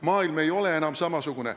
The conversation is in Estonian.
Maailm ei ole enam samasugune.